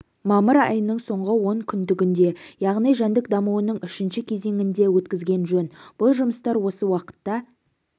мамыр айының соңғы онкүндігінде яғни жәндік дамуының үшінші кезеңінде өткізген жөн бұл жұмыстар осы уақытта